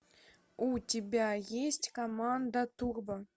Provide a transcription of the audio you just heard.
у тебя есть команда турбо